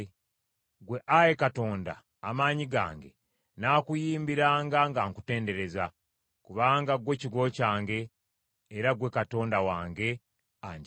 Ggwe, Ayi Katonda, Amaanyi gange, nnaakuyimbiranga nga nkutendereza; kubanga ggwe kigo kyange, era ggwe Katonda wange, anjagala.